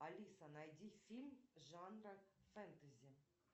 алиса найди фильм жанра фентези